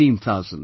16,000/